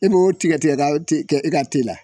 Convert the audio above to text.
I b'o tigɛ-tigɛ k'a o te kɛ e ka la